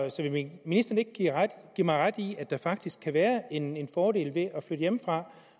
vil ministeren ikke give mig ret i at der faktisk kan være en fordel ved at flytte hjemmefra